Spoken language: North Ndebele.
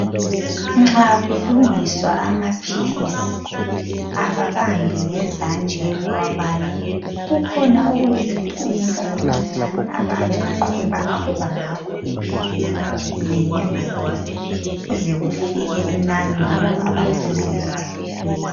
Nxa kulungiswa amaphilisi, ababambi ngezandla bewabala kukhona okuyizipunu okuncinyane abayabe beqwebaqweba ngakho iphilizi linye ngalinye, kuze kufike inani lelo abafuna ukuthi lifike.